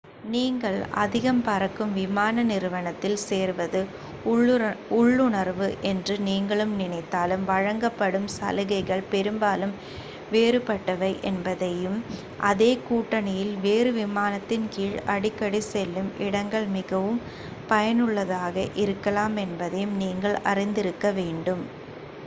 நீங்கள் அதிகம் பறக்கும் விமான நிறுவனத்தில் சேர்வது உள்ளுணர்வு என்று நீங்கள் நினைத்தாலும் வழங்கப்படும் சலுகைகள் பெரும்பாலும் வேறுபட்டவை என்பதையும் அதே கூட்டணியில் வேறு விமானத்தின் கீழ் அடிக்கடி செல்லும் இடங்கள் மிகவும் பயனுள்ளதாக இருக்கலாம் என்பதையும் நீங்கள் அறிந்திருக்க வேண்டும்